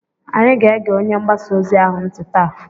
Anyị ga-ege onye mgbasaozi ahụ ntị taa.